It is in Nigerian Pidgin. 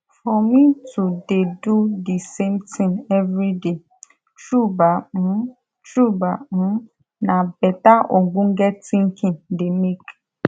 for me to de do de same tin everi day tru bah um tru bah um nah beta ogbonge tinkin de make